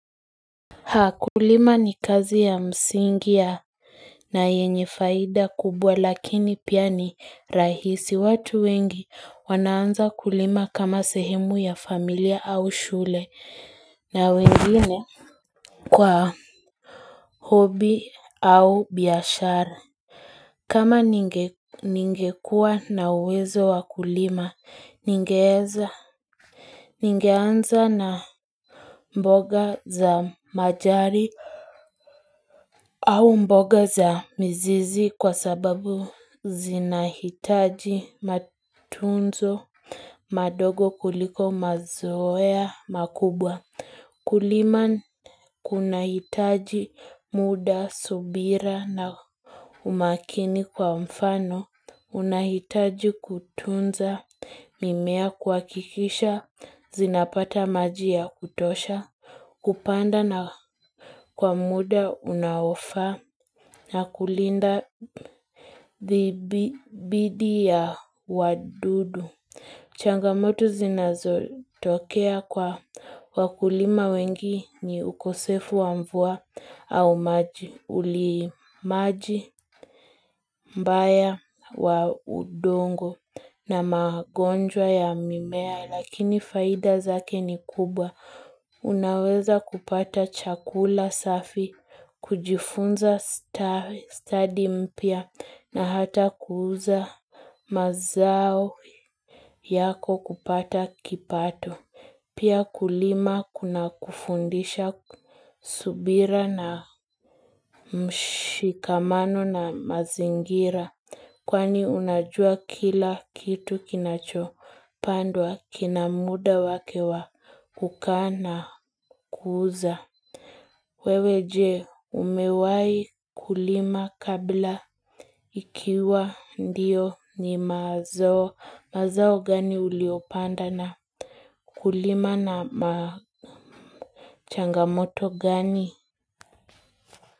Haa kulima ni kazi ya msingi ya na yenye faida kubwa lakini pia ni rahisi watu wengi wanaanza kulima kama sehemu ya familia au shule na wengine kwa hobi au biyashara kama ningekua na uwezo wa kulima ningeeza ningeanza na mboga za majani au mboga za mzizi kwa sababu zinahitaji matunzo madogo kuliko mazoea makubwa. Kulima kuna hitaji muda, subira na umakini kwa mfano. Unahitaji kutunza mimea kuwakikisha zinapata maji ya kutosha. Kupanda na kwa muda unaofaa na kulinda thidi ya wadudu. Changamoto zinazo tokea kwa wakulima wengi ni ukosefu wa mvua au maji. Uli maji, mbaya, wa udongo na magonjwa ya mimea. Lakini faida zake ni kubwa. Unaweza kupata chakula safi, kujifunza study mpya na hata kuuza mazao yako kupata kipato. Pia kulima kuna kufundisha subira na mshikamano na mazingira. Kwani unajua kila kitu kinacho pandwa kina muda wake wa kukaa na kuuza. Wewe jee umewahi kulima kabla ikiwa ndiyo ni mazao mazao gani uliopanda na kulima na machangamoto gani.